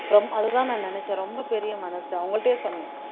ரொம்ப அதுதான் நான் நினைச்சேன் ரொம்ப பெரிய மனசு அவங்கள்ட்டயே சொன்னோம்